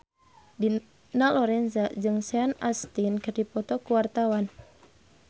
Dina Lorenza jeung Sean Astin keur dipoto ku wartawan